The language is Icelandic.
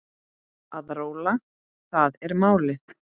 Að róla, það er málið.